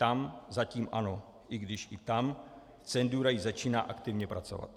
Tam zatím ano, i když i tam cenzura již začíná aktivně pracovat.